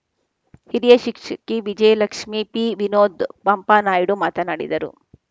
ಹಿರಿಯ ಶಿಕ್ಷಕಿ ವಿಜಯಲಕ್ಷ್ಮೀ ಪಿವಿನೋದ್ ಪಂಪಾನಾಯ್ಡು ಮಾತನಾಡಿದರು